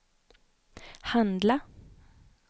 handla